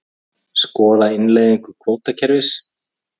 Skoða innleiðingu kvótakerfis